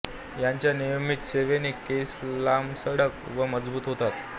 याच्या नियमित सेवनाने केस लांबसडक व मजबूत होतात